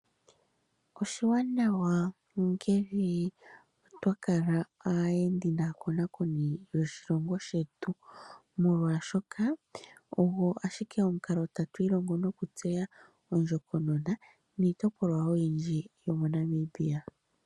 Oshiwanawa ngele twa kala aayendi naakonakoni yoshilongo shetu, molwaashoka ogo ashike omukalo tatu ilongo nokutseya ondjokonona niitopolwa oyindji yo moNamibia.